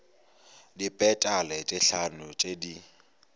dipetale tše hlano tše di